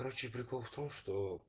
короче прикол в том что